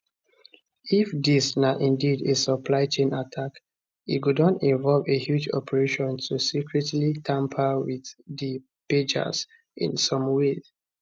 if dis na indeed a supply chain attack e go don involve a huge operation to secretly tamper with di pagers in some way